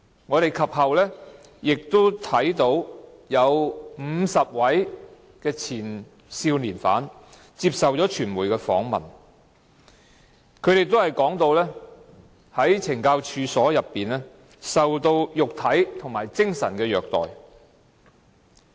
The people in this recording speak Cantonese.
我們及後亦看到有50位前少年犯接受傳媒訪問，他們都說在懲教所內受到肉體和精神虐待。